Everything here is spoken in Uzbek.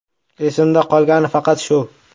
Esimda qolgani faqat shu.